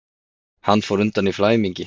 Hann fór undan í flæmingi.